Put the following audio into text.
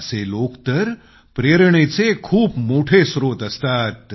असे लोक तर प्रेरणेचे खूप मोठे स्त्रोत असतात